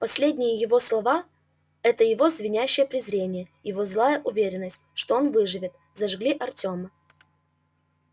последние его слова это его звенящее презрение его злая уверенность что он выживет зажгли артёма